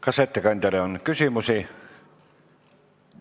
Kas ettekandjale on küsimusi?